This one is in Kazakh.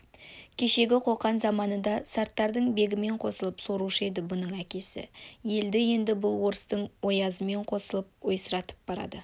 кешегі қоқан заманында сарттардың бегімен қосылып сорушы еді бұның әкесі елді енді бұл орыстың оязымен қосылып ойсыратып барады